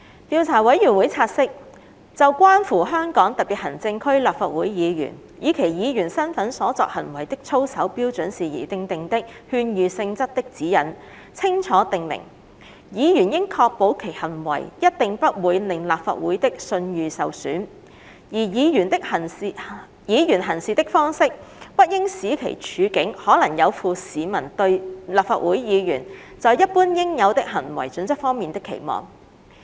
調查委員會察悉，《就關乎香港特別行政區立法會議員以其議員身份所作行為的操守標準事宜訂定的勸喻性質的指引》清楚訂明，"議員應確保其行為一定不會令立法會的信譽受損"，而"議員行事的方式，不應使其處境可能有負市民對立法會議員在一般應有的行為準則方面的期望"。